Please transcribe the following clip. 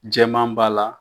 Jɛma b'a la.